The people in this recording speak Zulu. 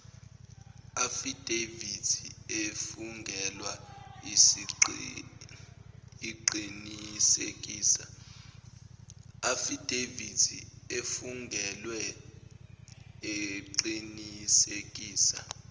afidavithi efungelwe eqinisekisa